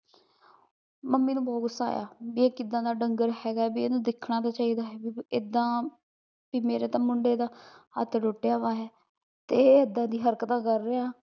mummy ਨੂੰ ਬੋਹਤ ਗੁੱਸਾ ਆਇਆ, ਵਈ ਇਹ ਕਿਦਾ ਦਾ ਡੰਗਰ ਹੈਗਾ ਐ ਵਈ ਇਹਨੁ ਦੇਖਣਾ ਚਾਹੀਦਾ ਹੈਗਾ ਏਦਾਂ ਮੇਰੇ ਤਾਂ ਮੁੰਡੇ ਦਾ ਹੱਥ ਟੁੱਟਿਆ ਐ ਤੇ ਇਹ ਏਦਾਂ ਦੀਆ ਹਰਕਤਾਂ ਕਰ ਰਿਹਾ ਐ